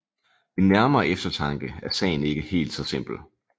Ved nærmere eftertanke er sagen ikke helt så simpel